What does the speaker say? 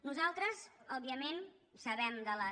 nosaltres òbviament sabem de les